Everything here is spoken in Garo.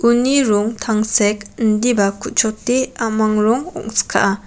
uni rong tangsek indiba ku·chote a·mang rong ongskaa.